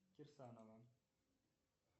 кирсанова